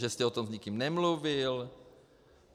Že jste o tom s nikým nemluvil?